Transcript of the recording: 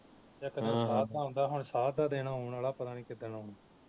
ਇਕ ਦਿਨ ਸਾਧ ਦਾ ਆਉਦਾ ਹੁਣ ਸਾਧ ਦਾ ਦਿਨ ਆਉਣ ਵਾਲਾ ਪਤਾ ਨੀ ਕਿੱਦਣ ਆਉਣਾ